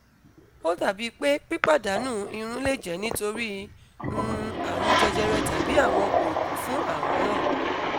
o dabi pe pipadanu irun le jẹ nitori um arun jejere tàbí àwọn oògun fún àrùn náà